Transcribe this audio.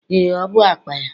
Ee, o bụ akpa ya